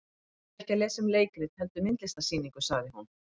Ég er ekki að lesa um leikrit heldur myndlistarsýningu, sagði hún.